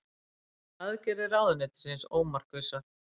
Aðgerðir ráðuneytisins ómarkvissar